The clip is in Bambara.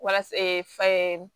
Walasa fa ye